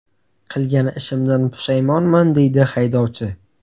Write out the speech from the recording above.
Qilgan ishimdan pushaymonman”, – deydi haydovchi.